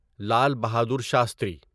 Lal Bahadur Shastri